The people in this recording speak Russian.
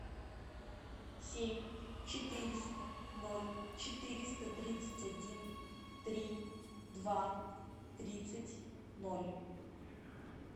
семь четыреста ноль четыреста тридцать один три два тридцать ноль